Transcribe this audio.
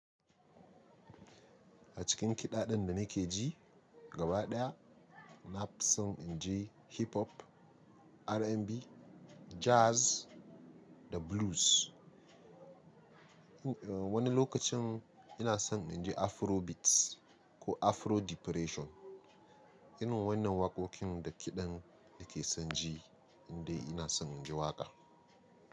A cikin kiɗa ɗin da nake ji gaba ɗaya na fi son in ji Hip Hop, R&B, Jazz da Blues. Un wani lokacin ina son in ji Afrobeats ko Afro Depression. Irin wannan waƙoƙin da kiɗan na ke san ji in dai ina son in ji waƙa.